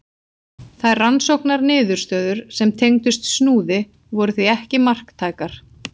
Þær rannsóknarniðurstöður sem tengdust Snúði voru því ekki marktækar.